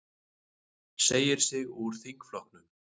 Segir sig úr þingflokknum